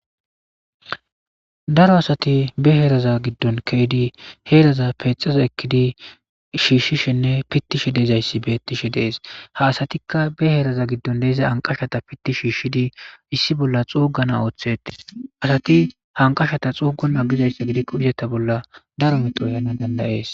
Daro asati be heeraza giddon keydi heeraza peexaza ekkidi shiishshishinne pittishe deezayssi beettishe dees ha asatikka be heeraza giddon deiza anqashata pitti shiishshidii issi bolla xoogana ooththetei asati hanqashata xoogana gizayssa gidikko izeta bolla daro mexoyana dandayees.